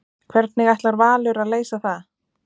Hvernig ætlar Valur að leysa það?